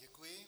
Děkuji.